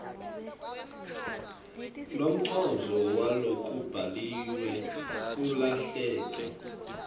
umcondvo walokubhaliwe ulahleke